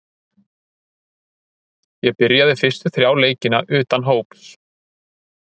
Ég byrjaði fyrstu þrjá leikina utan hóps.